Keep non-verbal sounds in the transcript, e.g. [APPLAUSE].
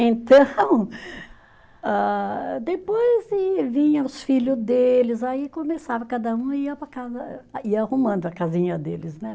Então [LAUGHS] ah, depois sim vinha os filho deles, aí começava, cada um ia para a casa, ia arrumando a casinha deles, né?